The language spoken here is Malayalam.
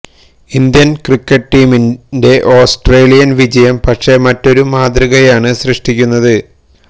ഇന്ത്യൻ ക്രിക്കറ്റ് ടീമിന്റെ ഓസ്ട്രേലിയൻ വിജയം പക്ഷേ മറ്റൊരു മാതൃകയാണ് സൃഷ്ടിക്കുന്നത്